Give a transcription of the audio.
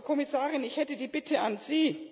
Frau Kommissarin, ich hätte die Bitte an Sie